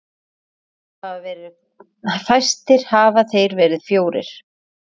Fæstir hafa þeir verið fjórir.